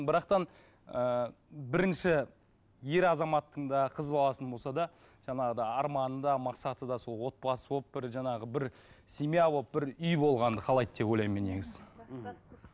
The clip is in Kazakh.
ыыы бірінші ер азаматтың да қыз баласының болса да жаңағыдай арманы да мақсаты да сол отбасы болып бір жаңағы бір семья болып бір үй болғанды қалайды деп ойлаймын мен негізі мхм